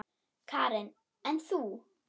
Karen: En þú?